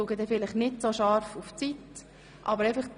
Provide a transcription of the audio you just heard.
Ich werde jedoch nicht so scharf auf die Redezeit schauen.